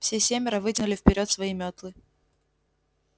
все семеро вытянули вперёд свои мётлы